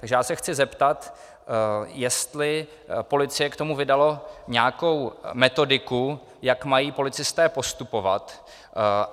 Takže já se chci zeptat, jestli policie k tomu vydala nějakou metodiku, jak mají policisté postupovat.